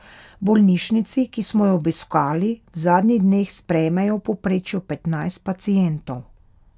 V bolnišnici, ki smo jo obiskali, v zadnjih dneh sprejmejo v povprečju petnajst pacientov.